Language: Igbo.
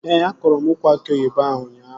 Ee, akọrọ m ukwu aki oyibo ahụ ụnyaahụ